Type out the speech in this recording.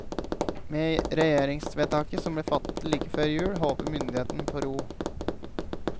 Med regjeringsvedtaket, som ble fattet like før jul, håper myndighetene på ro.